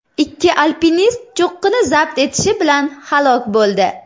Ikki alpinist cho‘qqini zabt etishi bilan halok bo‘ldi.